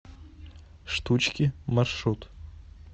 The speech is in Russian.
штучки маршрут